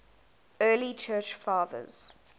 early church fathers